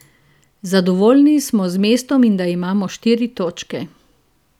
Zadovoljni smo z mestom in da imamo štiri točke.